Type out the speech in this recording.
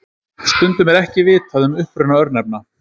stundum er ekki vitað um uppruna örnefna